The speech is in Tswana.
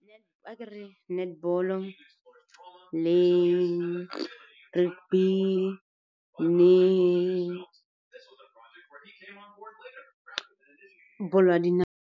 Akere netball-o le le bolo ya dinao.